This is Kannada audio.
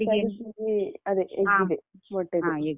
ಅದೇ egg ದ್ದೆ ಮೊಟ್ಟೆದ್ದೆ